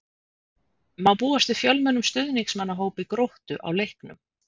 Má búast við fjölmennum stuðningsmannahópi Gróttu á leiknum?